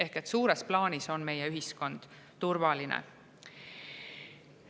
Ehk suures plaanis on meie ühiskond turvaline.